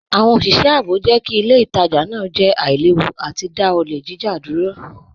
Awọn oṣiṣẹ ààbò jẹ́ kí ilẹ̀ ìtajà naa jẹ́ àìlèwú àti dá ọlẹ̀ jíjà dúró.